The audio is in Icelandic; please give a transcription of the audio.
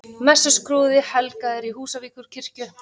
Messuskrúði helgaður í Húsavíkurkirkju